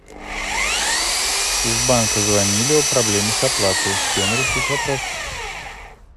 из банка звонили о проблеме с оплатой с кем решить вопрос